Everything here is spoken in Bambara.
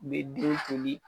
N be duw koli